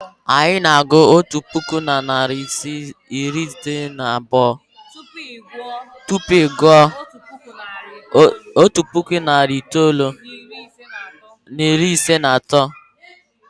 Anyị na-agụ otu puku na narị itoolu na iri ise na abụọ tupu ị gụọ otu puku na narị itoolu na iri ise na atọ.